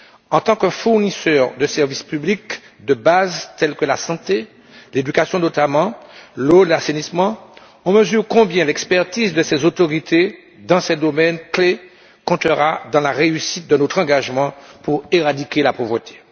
En tant que fournisseur de services publics de base tels que la santé, l'éducation, notamment, l'eau, l'assainissement, on mesure combien l'expertise de ces autorités dans ces domaines clés comptera dans la réussite de notre engagement pour éradiquer la pauvreté.